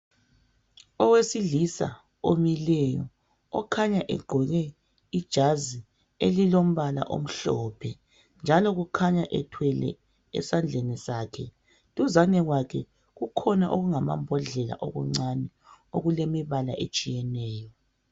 Owesilisa omileyo okhanya egqoke ijazi elilombala omhlophe njalo kukhanya ethwele esandleni sakhe. Duzane kwakhe kukhona okungamabhodlela okuncane okulemibala etshiyeneyo.